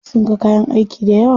Sun ga kayan aiki dayawa.